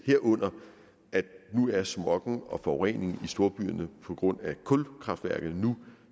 herunder at smoggen og forureningen i storbyerne på grund af kulkraftværker nu